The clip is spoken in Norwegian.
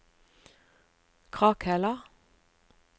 Krakhella